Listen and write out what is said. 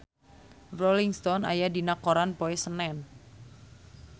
Rolling Stone aya dina koran poe Senen